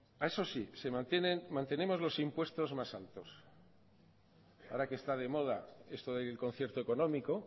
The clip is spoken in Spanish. eso sí mantenemos los impuestos más altos ahora que está de moda esto del concierto económico